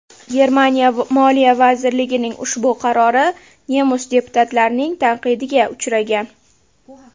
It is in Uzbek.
Germaniya moliya vazirligining ushbu qarori nemis deputatlarining tanqidiga uchragan.